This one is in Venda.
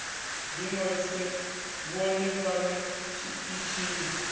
ḓi ṅwalise vhone vhaṋe tshiṱitshini